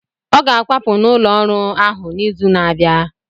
Ọ ga-akwapụ n’ụlọ ụrọ ahu n’izu na-abịa.